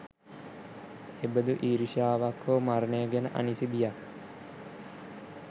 එබඳු ඊර්ෂ්‍යාවක් හෝ මරණය ගැන අනිසි බියක්